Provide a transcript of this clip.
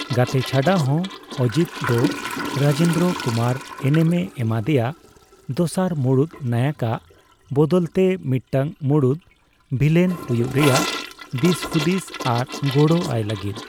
ᱜᱟᱛᱮ ᱪᱷᱟᱰᱟ ᱦᱚᱸ, ᱚᱡᱤᱛ ᱫᱚ ᱨᱟᱡᱮᱱᱫᱽᱨᱚ ᱠᱩᱢᱟᱨ ᱮᱱᱮᱢᱮ ᱮᱢᱟᱫᱮᱭᱟ ᱫᱚᱥᱟᱨ ᱢᱩᱲᱩᱫ ᱱᱟᱭᱚᱠᱟᱜ ᱵᱚᱫᱚᱞᱛᱮ ᱢᱤᱫᱴᱟᱝ ᱢᱩᱲᱩᱫ ᱵᱷᱤᱞᱮᱱ ᱦᱩᱭᱩᱜ ᱨᱮᱭᱟᱜ ᱫᱤᱥᱦᱩᱫᱤᱥ ᱟᱨ ᱜᱚᱲᱚ ᱟᱭ ᱞᱟᱹᱜᱤᱫ ᱾